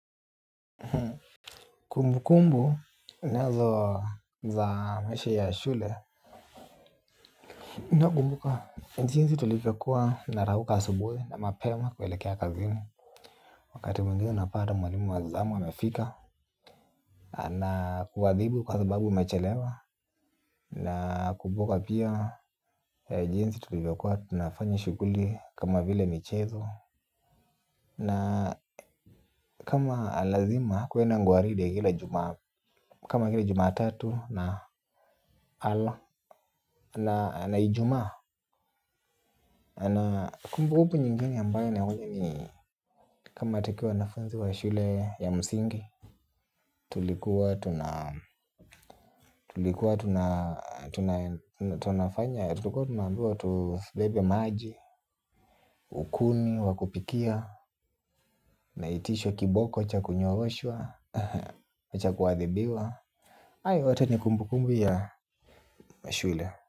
Kumbukumbu nazo za maisha ya shule. Nakumbuka jinsi nilivyokuwa narauka asubuhi na mapema kuelekea kazini. Wakati mwingine napata mwalimu wa zamu amefika anakuadhibu kwa sababu umechelewa. Nakumbuka pia jinsi tulivyokuwa tunafanya shughuli kama vile michezo. Na kama lazima kuenda ngaridi kila Jumatatu na Ijumaa. Na kumbukumbu nyingine ambazo, ni kama matokeo ya wanafunzi wa shule ya msingi. Tulikuwa tunaambiwa tubebe maji kuni za kupikia, tunaitishwa kiboko cha kunyooshwa, cha kuadhibiwa. Hayo yote ni kumbukumbu ya shule.